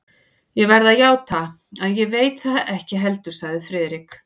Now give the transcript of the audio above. Ég verð að játa, að ég veit það ekki heldur sagði Friðrik.